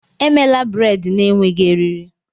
Emela braid na-enweghị eriri!